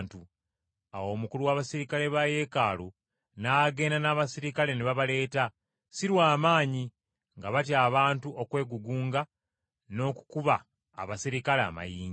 Awo omukulu w’abaserikale ba Yeekaalu, n’agenda n’abaserikale ne babaleeta, si lwa maanyi, nga batya abantu okwegugunga n’okukuba abaserikale amayinja.